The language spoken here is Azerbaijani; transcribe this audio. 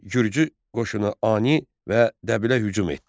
Gürcü qoşunu Ani və Dəbilə hücum etdi.